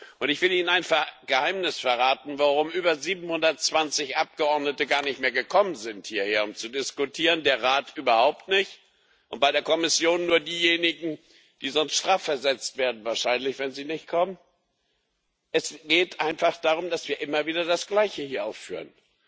Und ich will ihnen ein Geheimnis verraten, warum über 720 Abgeordnete gar nicht mehr hierhergekommen sind, um zu diskutieren, der Rat überhaupt nicht und bei der Kommission nur diejenigen, die sonst wahrscheinlich strafversetzt werden, wenn sie nicht kommen Es geht einfach darum, dass wir hier immer wieder das Gleiche aufführen.